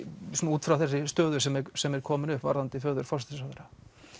út frá þeirri stöðu sem er sem er komin upp varðandi föður forsætisráðherra